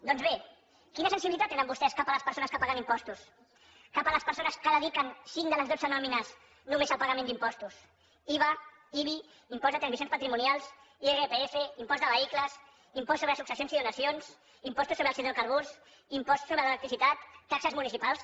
doncs bé quina sensibilitat tenen vostès cap a les persones que paguen impostos cap a les persones que dediquen cinc de les dotze nòmines només al pagament d’impostos iva ibi imposts de transmissions patrimonials irpf impost de vehicles impost sobre successions i donacions impostos sobre els hidrocarburs impost sobre l’electricitat taxes municipals